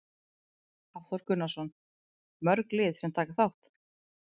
Hafþór Gunnarsson: Mörg lið sem taka þátt?